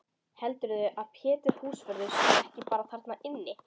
Heldurðu að Pétur húsvörður sé ekki bara þarna inni?